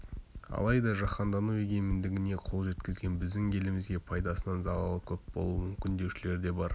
алайда жаһандану егемендігіне қол жеткізген біздің елімізге пайдасынан залалы көп болуы мүмкін деушілер де бар